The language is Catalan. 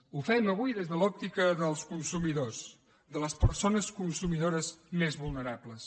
ho fem avui des de l’òptica dels consumidors de les persones consumidores més vulnerables